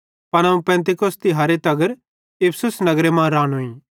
पन अवं पेन्तिकुसत तिहारे तगर इफिसुस नगरे मां रानोईं